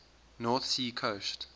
north sea coast